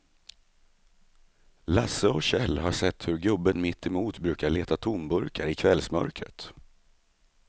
Lasse och Kjell har sett hur gubben mittemot brukar leta tomburkar i kvällsmörkret.